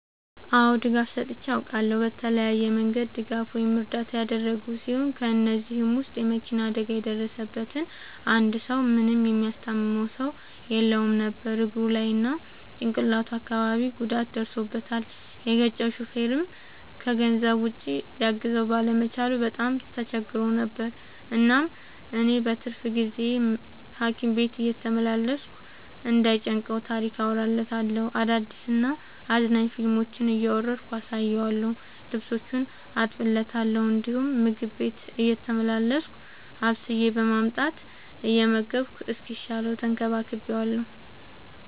አዎ ድጋፍ ሰጥቼ አውቃለሁ። በተለያየ መንገድ ድጋፍ ወይም እርዳታ ያደረግሁ ሲሆን ከ እነዚህም ውስጥ የ መኪና አደጋ የደረሠበትን አንድ ሰው ምንም የሚያስታምመው ሰው የለውም ነበር እግሩ ላይ እና ጭቅላቱ አካባቢ ጉዳት ደርሶበታል። የገጨው ሹፌርም ከገንዘብ ውጪ ሊያግዘው ባለመቻሉ በጣም ተቸግሮ ነበር። እናም እኔ በትርፍ ጊዜዬ ሀኪም ቤት እየተመላለስኩ እንዳይ ጨንቀው ታሪክ አወራለታለሁ፤ አዳዲስ እና አዝናኝ ፊልሞችን እያወረድኩ አሳየዋለሁ። ልብሶቹን አጥብለታለሁ እንዲሁም ምግብ ቤቴ እየተመላለስኩ አብስዬ በማምጣት እየመገብኩ እስኪሻለው ተንከባክቤዋለሁ።